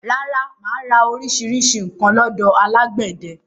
Rárá, mà á ra orísirísi nǹkan lọ́dọ̀ alágbẹ̀dẹ